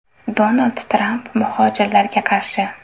Donald Tramp muhojirlarga qarshi.